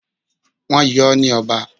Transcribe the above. Wọ́n yọ ọ́ ní ọba.